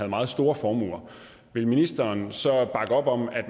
meget store formuer ville ministeren så bakke op om at